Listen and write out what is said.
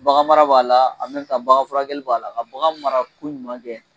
Baganmara b'a la bagan furakɛli b'a la ka bagan mara